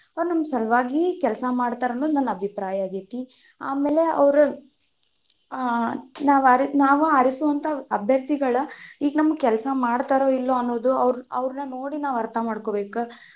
ಅವ್ರ ನಮ್ಮ ಸಲುವಾಗಿ ಕೆಲಸಾ ಮಾಡ್ತಾರ್ ಅನ್ನೋದು ನನ್ನ ಅಭಿಪ್ರಾಯ ಆಗೈತಿ , ಆಮೇಲೆ ಅವ್ರ ಆ ನಾವ್ ನಾವ್ ಆರಿಸುವಂತಹ ಅಭ್ಯರ್ಥಿಗಳ್ ಈಗ ನಮ್ ಕೆಲಸ ಮಾಡ್ತಾರೊ ಇಲ್ವೊ ಅನ್ನೋದು ಅವ್ರ್ನ ನೋಡಿ ನಾವ್ ಅರ್ಥ ಮಾಡ್ಕೊಬೇಕ್.